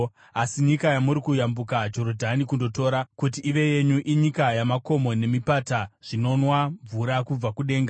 Asi nyika yamuri kuyambuka Jorodhani kundotora kuti ive yenyu inyika yamakomo nemipata zvinonwa mvura kubva kudenga.